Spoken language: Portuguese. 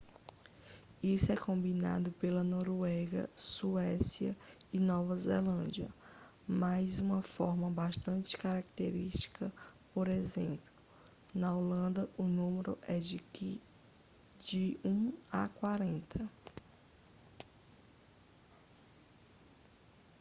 isso é combinado pela noruega suécia e nova zelândia mas uma forma bastante característica por exemplo na holanda o número é de um a quarenta